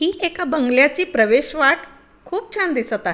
हि एका बंगल्याची प्रवेश वाट खूप छान दिसत आहे.